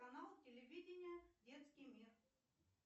канал телевидения детский мир